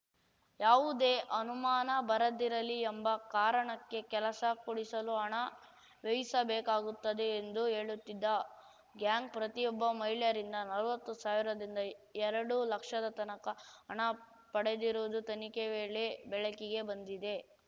ಯಾವುದೇ ಅನುಮಾನ ಬರದಿರಲಿ ಎಂಬ ಕಾರಣಕ್ಕೆ ಕೆಲಸ ಕೊಡಿಸಲು ಹಣ ವ್ಯಯಿಸಬೇಕಾಗುತ್ತದೆ ಎಂದು ಹೇಳುತ್ತಿದ್ದ ಗ್ಯಾಂಗ್‌ ಪ್ರತಿಯೊಬ್ಬ ಮಹಿಳೆಯರಿಂದ ನಲ್ವತ್ತು ಸಾವಿರದಿಂದ ಎರಡು ಲಕ್ಷದ ತನಕ ಹಣ ಪಡೆದಿರುವುದು ತನಿಖೆ ವೇಳೆ ಬೆಳಕಿಗೆ ಬಂದಿದೆ